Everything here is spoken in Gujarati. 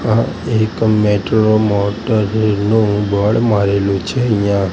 આ એક મેટ્રો મોટરરેલ નુ બોર્ડ મારેલુ છે અહિયા--